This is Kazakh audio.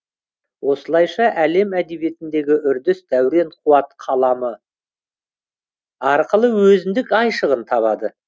осылайша әлем әдебиетіндегі үрдіс дәурен қуат қаламы арқылы өзіндік айшығын табады